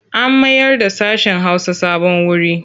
An mayarda sashen Hausa sabon wuri.